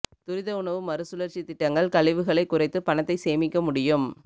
துரித உணவு மறுசுழற்சி திட்டங்கள் கழிவுகளை குறைத்து பணத்தை சேமிக்க முடியும்